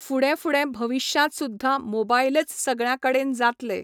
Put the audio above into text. फुडें फुडें भविश्यांत सुद्धां मोबायलच सगळ्यां कडेन जातले